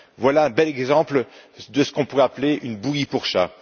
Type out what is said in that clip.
Voilà un bel exemple de ce qu'on pourrait appeler une bouillie pour chat.